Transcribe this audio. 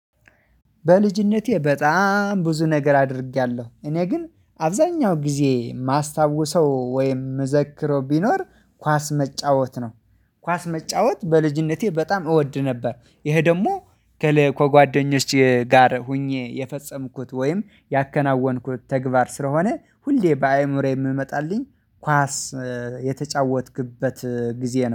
በልጅነቴ በጣም ብዙ ነገር አድርጌያለሁ እኔ ግን አብዛኛው ጊዜ የማስታውሰው ወይም የምዘክረው ቢኖር ኳስ መጫወት ነው። ኳስ መጫወት በልጅነቴ በጣም እወድ ነበር። ይሄ ደግሞ ከጓደኞችህ ጋር ሆኜ የፈጸምኩት ወይም ያከናወንኩት ተግባር ስለሆነ ሁሌ በአእምሮዬ የምመጣልኝ ኳስ የተጫወትክበት ጊዜ